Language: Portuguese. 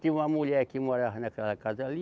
Tinha uma mulher que morava naquela casa ali.